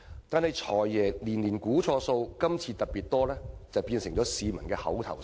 但是，"'財爺'年年估錯數，今次特別多"變成了市民的口頭禪。